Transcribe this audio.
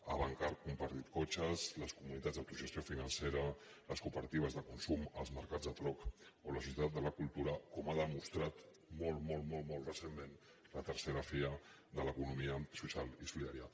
avancar compartir cotxes les comunitats d’autogestió financera les cooperatives de consum els mercats de troc o la societat de la cultura com ha demostrat molt molt recentment la iii fira de l’economia social i solidària